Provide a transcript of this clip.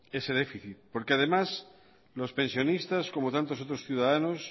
ese déficit porque además los pensionistas como tantos otros ciudadanos